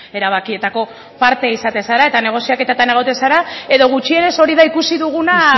erabakietako parte izatea zara eta negoziaketetan egoten zara edo gutxienez hori da ikusi duguna